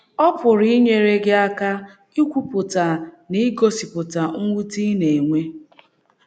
Ọ pụrụ inyere gị aka ikwupụta na igosipụta mwute ị na - enwe